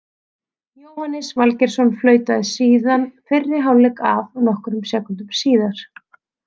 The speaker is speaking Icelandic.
Jóhannes Valgeirsson flautaði síðan fyrri hálfleik af nokkrum sekúndum síðar.